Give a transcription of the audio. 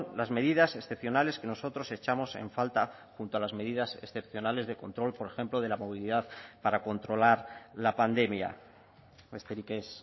las medidas excepcionales que nosotros echamos en falta junto a las medidas excepcionales de control por ejemplo de la movilidad para controlar la pandemia besterik ez